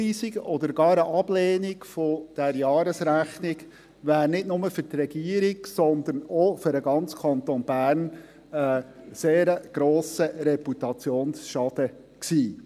Eine Rückweisung oder gar eine Ablehnung dieser Jahresrechnung wäre nicht nur für die Regierung, sondern auch für den ganzen Kanton Bern ein sehr grosser Reputationsschaden gewesen.